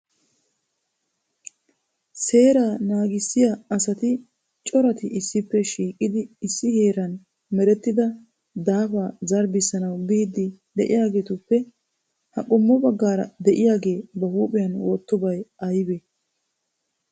Seera naagissiya asati coratti issippe shiiqidi issi heeran merettida daafa zarbbisanaw biidi de'iyaagetuppe ha qommo baggaara de'iyaage ba huuphiya wottidobay aybbe?